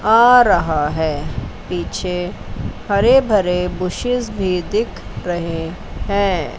आ रहा है पीछे हरे भरे बुशेस भी दिख रहे हैं।